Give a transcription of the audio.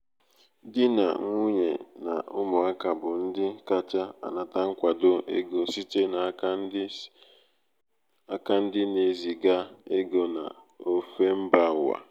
di na nwunye na ụmụaka bụ ndị kacha anata nkwado ego site n’aka ndị site n’aka ndị na-eziga ego n’ofe mba ụwa.